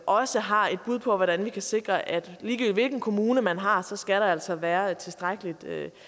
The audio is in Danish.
også har et bud på hvordan vi kan sikre at ligegyldigt hvilken kommune man har så skal der altså være et tilstrækkeligt